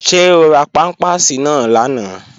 Ṣé o ra pámpàsì náà lánàá?